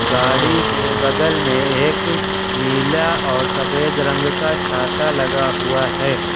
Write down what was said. गाड़ी के बगल में एक नीला और सफेद रंग का छाता लगा हुआ है।